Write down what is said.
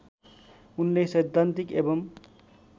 उनले सैद्धान्तिक एवं